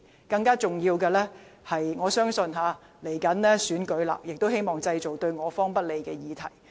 更重要的是，隨着選舉臨近，我相信他們希望製造對我方不利的議題。